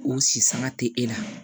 U si sanga te e la